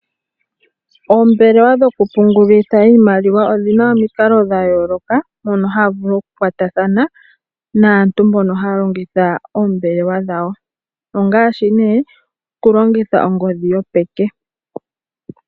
Oombelewa dhokupungula iimaliwa odhina omikalo dha yooloka mono haya vulu okukwatathana naantu mboka haya longitha oombelewa dhawo, ngaashi okulongitha ongodhi yopeke.